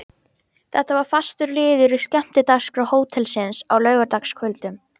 Þetta var fastur liður í skemmtidagskrá hótelsins á laugardagskvöldum.